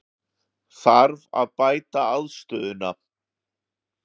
Þarf að bæta aðstöðuna?